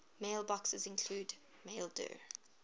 mailboxes include maildir